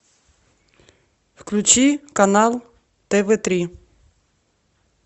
включи канал тв три